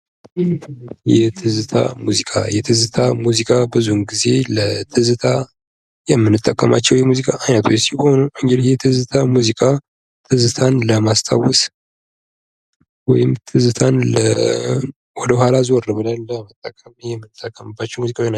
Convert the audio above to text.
የትዝታ ሙዚቃ የትዝታ ሙዚቃ ብዙውን ጊዜ ለትዝታ የምንጠቀማቸው የሙዚቃ አይነቶች ሲሆኑ እንግዲህ የትዝታ ሙዚቃ ትዝታን ለማስታወስ ወይም ትዝታን ወደ ኋላ ዞር ብለን።